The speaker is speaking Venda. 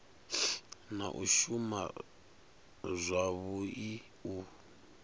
na u shuma zwavhui u